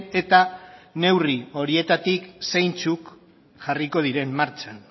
eta neurri horietatik zeintzuk jarriko diren martxan